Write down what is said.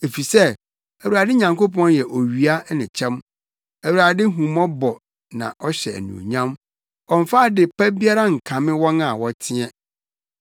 Efisɛ Awurade Nyankopɔn yɛ owia ne kyɛm; Awurade hu mmɔbɔ na ɔhyɛ anuonyam; ɔmmfa ade pa biara nkame wɔn a wɔteɛ.